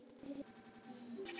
Ýmislegt ber þó á milli.